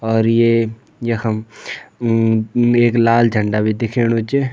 और ये यखम म एक लाल झंडा भी दिखेणु च।